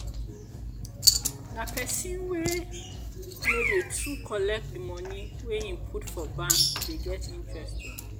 na pesin wey no dey too collect di moni wey im put for bank dey get interest oo.